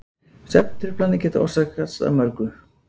svefntruflanir geta orsakast af mörgu